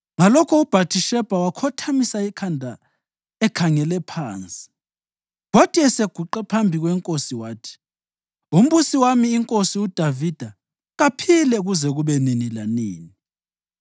Ngalokho uBhathishebha wakhothamisa ikhanda ekhangele phansi, kwathi eseguqe phambi kwenkosi, wathi. “Umbusi wami inkosi uDavida kaphile kuze kube nini lanini!”